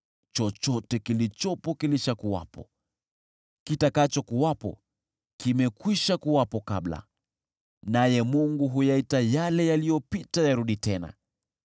Chochote kilichopo kilishakuwepo, na kitakachokuwepo kimekwishakuwepo kabla; naye Mungu huyaita yale yaliyopita yarudi tena.